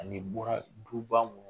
Ani bɔra du ba munnu kɔnɔ .